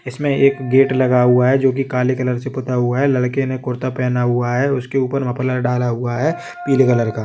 इसमें एक गेट लगा हुआ है जो कि काले कलर से पुता हुआ है लड़के ने कुर्ता पहना हुआ है उसके उपर मफलर डाला हुआ है पीले कलर का --